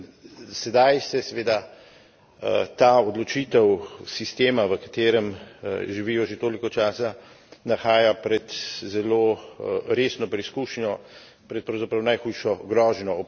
In sedaj se, seveda, ta odločitev sistema, v katerem živijo že toliko časa, nahaja pred zelo resno preizkušnjo, pred pravzaprav najhujšo grožnjo.